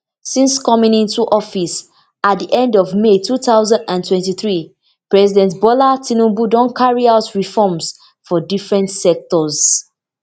since coming into office at di end of may two thousand and twenty-three president bola tinubu don carry out reforms for different sectors